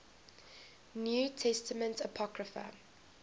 new testament apocrypha